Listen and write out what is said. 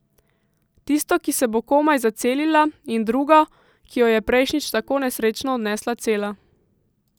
Tisto, ki se bo komaj zacelila, in drugo, ki jo je prejšnjič tako nesrečno odnesla cela.